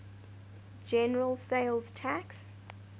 general sales tax